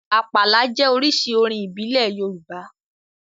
Àpàlà jẹ́ oríṣi orin ìbílẹ̀ Yorùbá